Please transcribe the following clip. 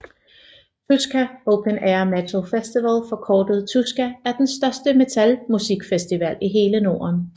Tuska Open Air Metal Festival forkortet Tuska er den største metalmusikfestival i hele Norden